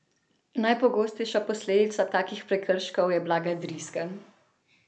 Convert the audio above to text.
Najpogostejša posledica takih prekrškov je blaga driska.